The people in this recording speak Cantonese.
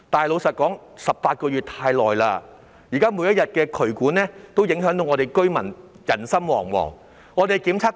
老實說 ，18 個月太久了，渠管問題現在每天都令居民人心惶惶。